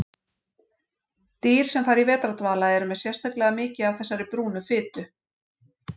Dýr sem fara í vetrardvala eru með sérstaklega mikið af þessari brúnu fitu.